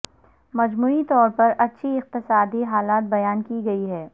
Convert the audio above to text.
مجموعی طور پر اچھی اقتصادی حالت بیان کی گئی ہے